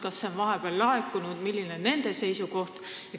Kas see on vahepeal laekunud ja milline on nende seisukoht?